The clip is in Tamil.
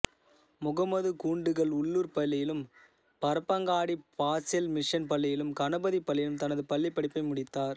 முகம்மது கூண்டுங்கல் உள்ளூர் பள்ளியிலும் பரப்பங்காடி பாசெல் மிஷன் பள்ளியிலும் கணபதி பள்ளியிலும் தனது பள்ளிப்படிப்பை முடித்தார்